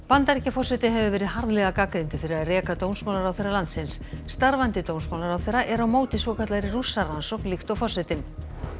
Bandaríkjaforseti hefur verið harðlega gagnrýndur fyrir að reka dómsmálaráðherra landsins starfandi dómsmálaráðherra er á móti svokallaðri Rússarannsókn líkt og forsetinn